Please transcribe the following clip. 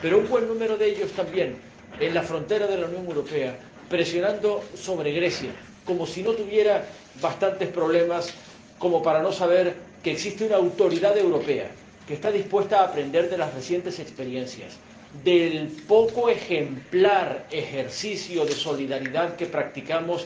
y con un buen número de ellos también en la frontera de la Unión Europea, presionando sobre Grecia, como si no tuviera bastantes problemas, como para no saber que existe una autoridad europea que está dispuesta a aprender de las recientes experiencias, del poco ejemplar ejercicio de solidaridad que practicamos